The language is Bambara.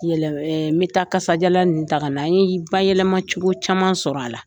N bɛ taa kasadiyala nin taga na. N ye bayɛlɛma cogo caman sɔrɔ a la.